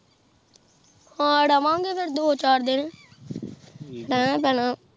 ਹਨ ਰਾਵਾਂ ਗਏ ਫੇਰ ਦੋ ਚਾਰ ਦਿਨ ਰਹਿਣਾ ਪੈਣਾ ਆ